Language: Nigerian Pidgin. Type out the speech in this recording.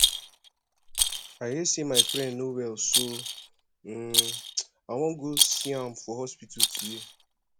i hear say my friend no well so um i wan go see am for hospital today